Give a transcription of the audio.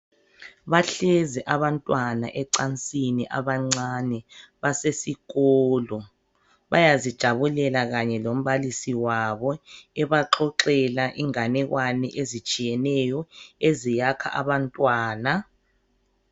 Bahlezi abantwana ecansini abancane basesikolo bayazijabulela kanye lombalisi wabo ebaxoxela inganekwane ezitshiyeneyo eziyakha abantwana.